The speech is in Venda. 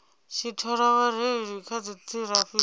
tshi thola vhareili vha dziṱhirakha